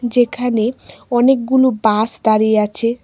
যেখানে অনেকগুনো বাস দাঁড়িয়ে আছে।